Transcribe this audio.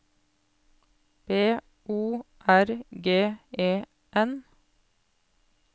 B O R G E N